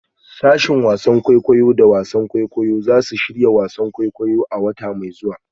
Sashen wasan kwaikwayo da wasan kwaikwayo za su shirya wasan kwaikwayo a wata mai zuwa.